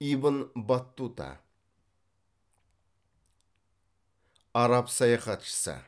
ибн баттута араб саяхатшысы